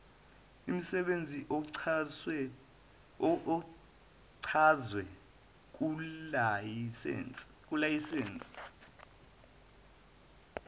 imsebenzi ochazwe kulayisense